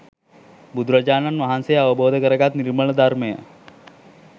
බුදුරජාණන් වහන්සේ අවබෝධ කරගත් නිර්මල ධර්මය